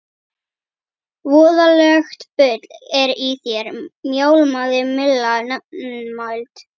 Voðalegt bull er í þér mjálmaði Milla nefmælt.